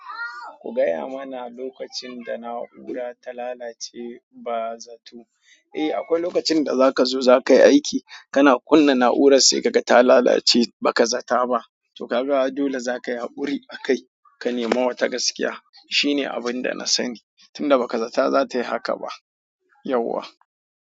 Ku gaya mana lokacin da na'ura ta lalace ba zato. Eh, akwai lokacin da zaka zo zakai aiki, kana kunna na'urar sai kaga ta lalace baka zata ba. To kaga dole zaka yi haƙuri a kai ka nemi wata gaskiya. Shine abinda na sani, tunda baka zata zatayi haka ba yauwa.